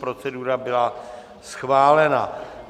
Procedura byla schválena.